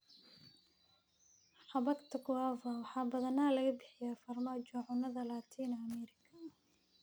Xabagta Guava waxaa badanaa lagu bixiyaa farmaajo cunnada Laatiin Ameerika.